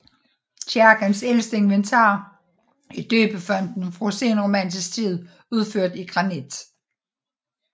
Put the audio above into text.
Kirkens ældste inventar er døbefonten fra senromansk tid udført i granit